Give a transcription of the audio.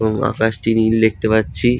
এবং আকাশটি নীল দেখতে পাচ্ছি।